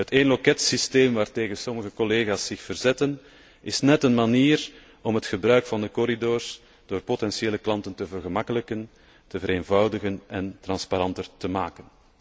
Het éénloketsysteem waartegen sommige collega's zich verzetten, is net een manier om het gebruik van de corridors door potentiële klanten te vergemakkelijken, te vereenvoudigen en transparanter te maken.